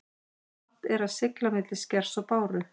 Vant er að sigla milli skers og báru.